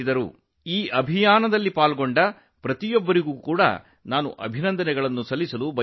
ಈ ಅಭಿಯಾನದಲ್ಲಿ ಭಾಗವಹಿಸಿದ ಎಲ್ಲರನ್ನು ನಾನು ಅಭಿನಂದಿಸುತ್ತೇನೆ